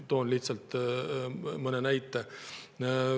Tõin lihtsalt mõne näite.